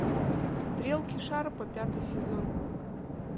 стрелки шарпа пятый сезон